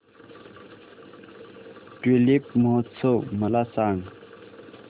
tulip महोत्सव मला सांग